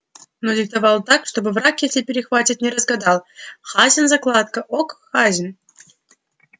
но диктовал так чтобы враг если перехватит не разгадал хазин закладка ок хазин